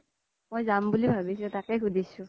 মই যাম বুলি ভাবিছো তাকেই সুধিছো